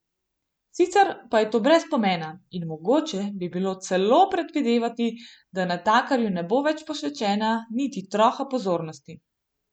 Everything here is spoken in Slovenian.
Sicer pa je to brez pomena, in mogoče bi bilo celo predvidevati, da natakarju ne bo več posvečena niti troha pozornosti.